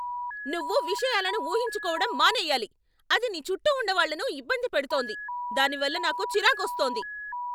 నువ్వు విషయాలను ఊహించుకోవడం మానేయాలి. అది నీ చుట్టూ ఉన్న వాళ్ళను ఇబ్బంది పెడుతోంది, దానివల్ల నాకు చిరాకొస్తోంది.